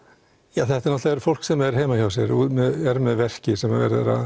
það er náttúrulega fólk sem er heima hjá sér og er með verki sem verið er að